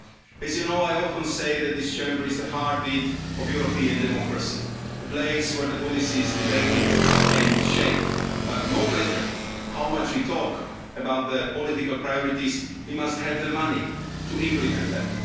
As you know, I often say that this Chamber is the heartbeat of European democracy, a place where policy is debated and shaped, but no matter how much we talk about the political priorities, we must have the money to implement them.